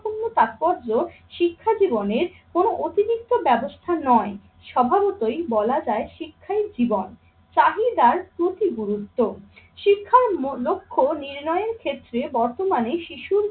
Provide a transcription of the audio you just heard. পূর্ণ তাৎপর্য শিক্ষা জীবনের কোনো অতিরিক্ত ব্যবস্থা নয়। স্বভাবতই বলা যায় শিক্ষাই জীবন। চাহিদার প্রতি গুরুত্ব, শিক্ষার লক্ষ্য নির্ণয়ের ক্ষেত্রে বর্তমানে শিশুর